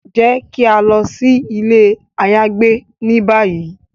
Jẹ ki a lọ si ile ayagbe ni bayi!